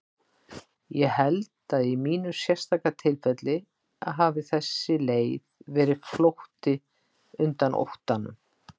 Ég held að í mínu sérstaka tilfelli hafi þessi leið verið flótti undan óttanum.